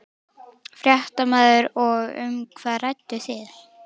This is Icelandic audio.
Fréttamaður: Og um hvað rædduð þið?